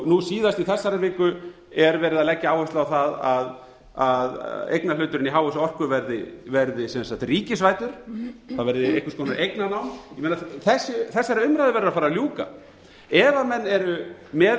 nú síðast í þessari viku er verið að leggja áherslu á það að eignarhluturinn í h s orku verði ríkisvæddur það verði einhvers konar eignarnám þessari umræðu verður að fara að ljúka ef menn eru með